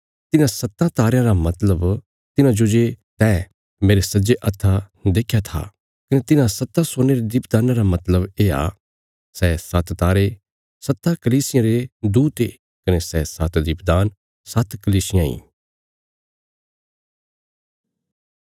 तिन्हां सत्तां तारयां रा मतलब तिन्हांजो जे तैं मेरे सज्जे हत्था देख्या था कने तिन्हां सत्तां सोने रे दीपदान्ना रा मतलब येआ सै सात्त तारे सत्तां कलीसियां रे दूत ये कने सै सात्त दीपदान सात्त कलीसियां इ